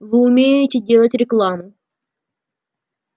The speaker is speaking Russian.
вы умеете делать рекламу